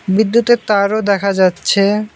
বিদ্যুতের তারও দেখা যাচ্ছে।